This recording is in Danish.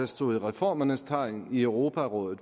stod i reformernes tegn i europarådet